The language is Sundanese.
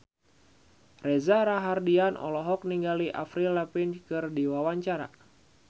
Reza Rahardian olohok ningali Avril Lavigne keur diwawancara